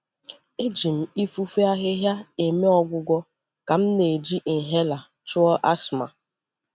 E ji m ifufe ahịhịa eme ọgwụgwọ ka m na-eji inhaler chụọ asthma.